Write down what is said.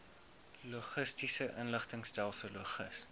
logistiese inligtingstelsel logis